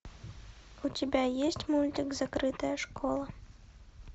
у тебя есть мультик закрытая школа